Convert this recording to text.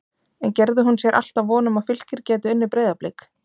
En gerði hún sér alltaf von um að Fylkir gæti unnið Breiðablik?